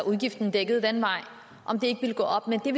udgiften dækket den vej og om det ikke ville gå op men det